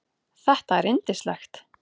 Þetta er yndislegt